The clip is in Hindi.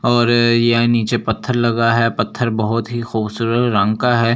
और यह नीचे पत्थर लगा है पत्थर बहुत ही खूबसूरत रंग का है ये सफ--